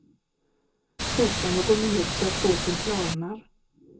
Koka någon minut så att såsen klarnar.